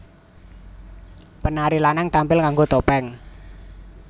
Penari lanang tampil nganggo topeng